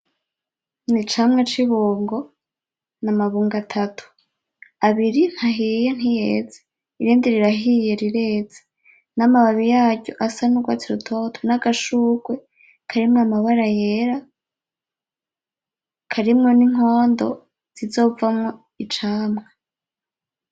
Ni icamwa c'ibungo, n'amabungo atatu, abiri ntahiye, ntiyeze irindi rirahiye, rireze, n'amababi yaryo asa n'urwatsi rutoto, n'agashugwe karimwo amabara yera, karimwo n'inkondo zizovamwo icamwa.